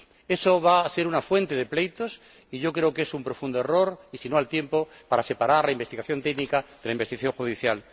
Eso va a ser una fuente de pleitos y yo creo que es un profundo error —y, si no, al tiempo—, pues es necesario separar la investigación técnica de la investigación judicial.